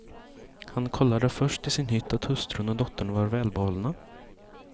Han kollade först i sin hytt att hustrun och dottern var välbehållna.